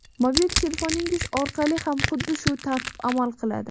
Mobil telefoningiz orqali ham xuddi shu tartib amal qiladi.